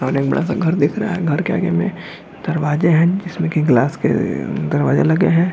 और एक बड़ा-सा घर दिख रहा है घर के आगे में दरवाजे हैं जिसमें कि ग्लास के दरवाजे लगे हैं।